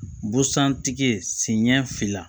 Busan tigiɲɛ fila